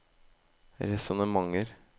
resonnementer